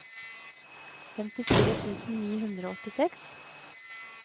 femtifire tusen ni hundre og åttiseks